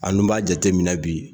A dun b'a jateminɛ bi